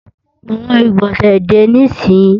Pàwo ìgbọ̀nsẹ̀ dè níìsín!